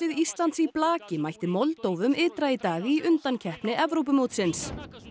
Íslands í blaki mætti ytra í dag í undankeppni Evrópumótsins